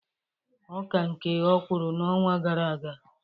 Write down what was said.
Ọ ka nke ọ kwụrụ n'ọnwa gara aga.